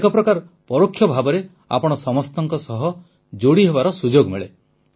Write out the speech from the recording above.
ଏକ ପ୍ରକାର ପରୋକ୍ଷ ଭାବେ ଆପଣ ସମସ୍ତଙ୍କ ସହ ଯୋଡ଼ିହେବାର ସୁଯୋଗ ମିଳେ